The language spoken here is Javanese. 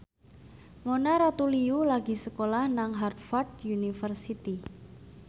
Mona Ratuliu lagi sekolah nang Harvard university